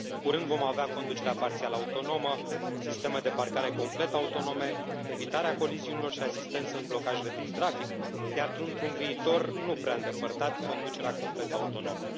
Curând vom avea conducerea parțial autonomă, sisteme de parcare complet autonome, evitarea coliziunilor și asistență în blocajele din trafic, iar, într un viitor nu prea îndepărtat, conducerea complet autonomă.